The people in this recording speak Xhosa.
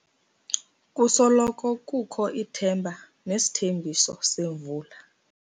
Kusoloko kukho ithemba nesithembiso semvula.